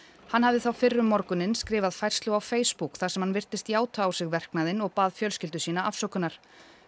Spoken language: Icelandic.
hann hafði þá fyrr um morguninn skrifað færslu á Facebook þar sem hann virtist játa á sig verknaðinn og bað fjölskyldu sína afsökunar